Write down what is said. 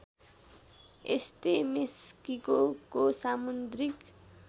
यस्तै मेस्किकोको सामुद्रिक